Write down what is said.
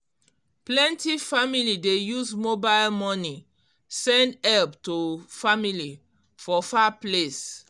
plenty family dey use mobile money send help to family for far place